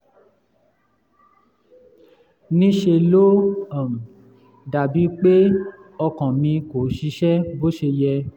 ní ṣe ló um dàbí pé ọkàn mi kò ṣiṣẹ́ bó ṣe yẹ